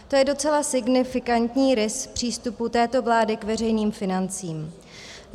To je docela signifikantní rys přístupu této vlády k veřejným financím.